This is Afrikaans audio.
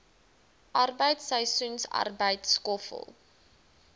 arbeid seisoensarbeid skoffel